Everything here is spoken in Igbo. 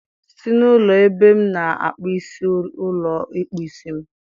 Si na ụlọ ebe m na-akpụ isi ụlọ ịkpụ isi m!